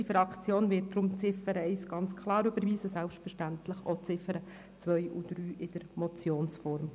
Unsere Fraktion wird deshalb die Ziffer 1 ganz klar überweisen und selbstverständlich auch die Ziffern 2 und 3 in der Motionsform.